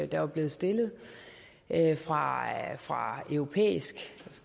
der var blevet stillet fra fra europæiske